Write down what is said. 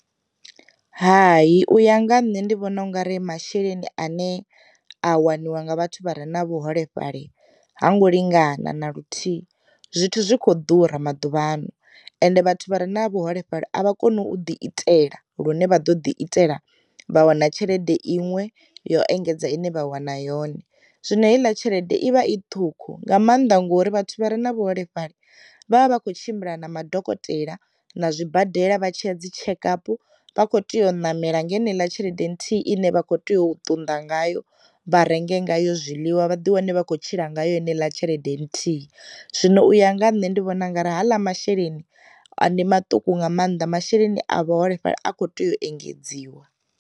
Hai u ya nga ha nṋe ndi vhona ungari masheleni ane a waniwa nga vhathu vha re na vhuholefhali ha ngo lingana na luthihi, zwithu zwikho ḓura maduvhano ende vhathu vha re na vhuholefhali a vha koni u ḓi itela lune vha ḓo ḓi itela vha wana tshelede iṅwe yo engedza ine vha wana yone. Zwino heiḽa tshelede i vha i ṱhukhu nga maanḓa ngori vhathu vha re na vhuholefhali vha vha vha kho tshimbila na madokotela, na zwi badela vha tshiya dzi tshekapu vha kho tea u namela ngeneiḽa tshelede nthihi ine vha kho tea u tunda ngayo vha renge nga yo zwiḽiwa vhaḓi wane vha kho tshila ngayo ine ḽa tshelede nthihi. Zwino u ya nga nṋe ndi vhona ungari haḽa masheleni ndi maṱuku nga maanḓa masheleni a vhaholefhali a kho tea u engedziwa.